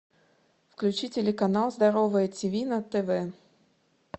включи телеканал здоровое тв на тв